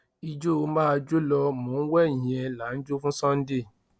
ìjọ máa jó lọ mò ń wẹ̀yìn ẹ là ń jó fún sunday